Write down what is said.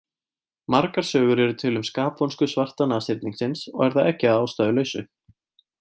Margar sögur eru til um skapvonsku svarta nashyrningsins og er það ekki að ástæðulausu.